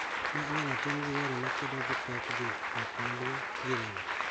Ma inyalo tim gi yore makedo gi pek dhi oko maduong', gi rem